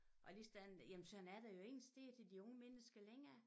Og lige sådan jamen sådan er der jo ingen steder til de unge mennesker længere